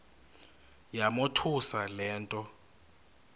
yamothusa le nto